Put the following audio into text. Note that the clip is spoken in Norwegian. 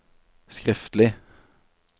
skriftlig